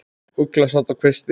Ugla sat á kvisti.